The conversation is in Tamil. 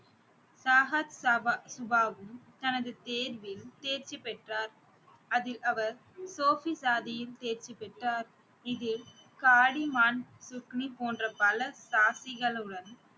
தனது தேர்வில் தேர்ச்சி பெற்றார். அதில் அவர் தேர்ச்சி பெற்றார் இதில் போன்ற பல